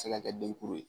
Se ka kɛ denkuru ye